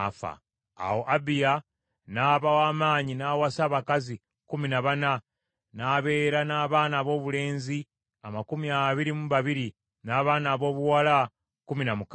Awo Abiya n’aba w’amaanyi n’awasa abakazi kkumi na bana, n’abeera n’abaana aboobulenzi amakumi abiri mu babiri n’abaana aboobuwala kkumi na mukaaga.